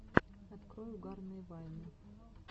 открой угарные вайны